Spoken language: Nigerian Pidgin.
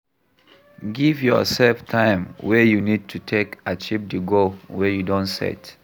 Give your sef time wey you need to take achieve di goal wey you don set